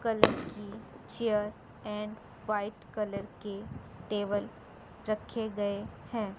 Colour की chair and white colour के table रखे गए हैं।